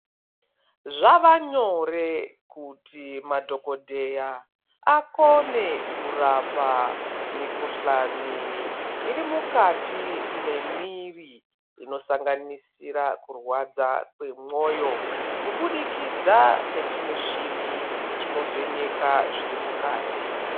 Zvava nyore kuti madhokoteya akone kurapa mi kuhlani iri mukati memwiri ino sanganisira kurwadza kwemwoyo kubudikidza nechi muchini chino vheneka zviri mukati.